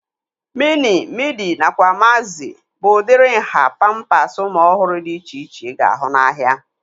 Mini, midi nakwa magzi bụ udiri nhá pampasi ụmụ ọhụrụ dị iche iche ị ga-ahụ n'ahia